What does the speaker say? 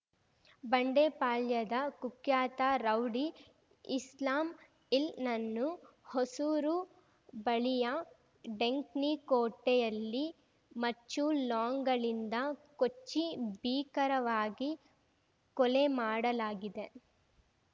ಬಂಡೆಪಾಳ್ಯದ ಕುಖ್ಯಾತ ರೌಡಿ ಇಸ್ಲಾಮ್ನನ್ನು ಹೊಸೂರು ಬಳಿಯ ಡೆಂಕ್ಣಿಕೋಟೆಯಲ್ಲಿ ಮಚ್ಚು ಲಾಂಗ್‌ಗಳಿಂದ ಕೊಚ್ಚಿ ಭೀಕರವಾಗಿ ಕೊಲೆ ಮಾಡಲಾಗಿದೆ